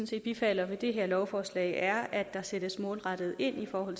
set bifalder ved det her lovforslag er at der sættes målrettet ind for at